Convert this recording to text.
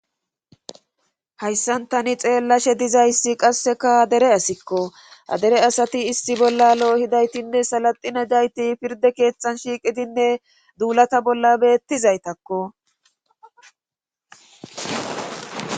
hayssan tani xeellashe dizayssi qasseka dere asikko adere asati issi bolla lo7o hidaytinne salaxine dayti pirde keetxan shiiqidinne duulata bolla beettizaytakko.